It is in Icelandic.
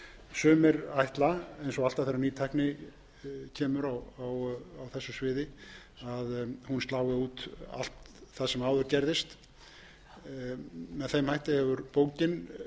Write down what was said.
alltaf þegar ný tækni kemur á þessu sviði að hún slái út allt það sem áður gerðist með þeim hætti hefur bókin verið